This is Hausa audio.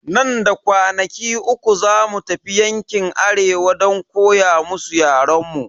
Nan da kwanaki uku zamu tafi yankin arewa don koya musu yaren mu.